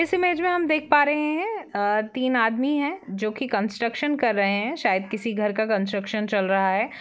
इस इमेज में हम देख पा रहे है अ तीन आदमी है जो की कंस्ट्रकशन कर रहे है शायद किसी घर का कंस्ट्रकशन चल रहा है।